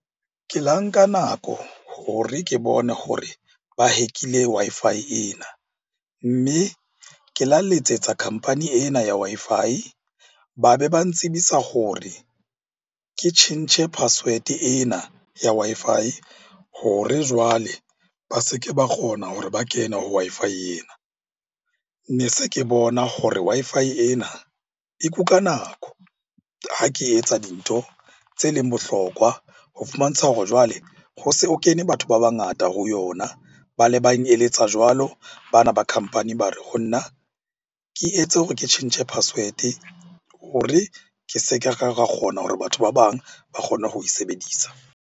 Ke la nka nako hore ke bone hore ba hack-ile Wi-Fi ena. Mme ke la letsetsa company ena ya Wi-Fi, ba be ba ntsibisa hore ke tjhentjhe na password-e ena ya Wi-Fi hore jwale ba se ke ba kgona hore ba kene ho Wi-Fi ena. Ne se ke bona hore Wi-Fi ena e kuka nako ha ke etsa dintho tse leng bohlokwa. Ho fumantsha hore jwale ho se ho kene batho ba bangata ho yona. Ba le bang eletsa jwalo bana ba company ba re ho nna ke etse hore ke tjhentjhe password-e hore ke se ke ra kgona hore batho ba bang ba kgone ho e sebedisa.